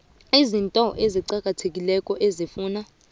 izinto eziqakathekileko ezifuna